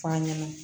F'an ɲɛna